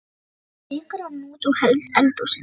Svo rýkur hann út úr eldhúsinu.